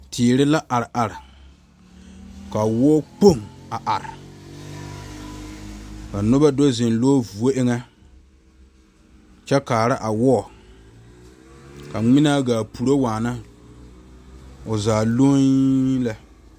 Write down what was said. Teere la are are ka wɔɔ kpoŋ a are ka noba do zeŋ lɔ vuo eŋa kyɛ kaa a wɔɔ ka ŋmaane ga puoro waa o zaa lɔe lɛ.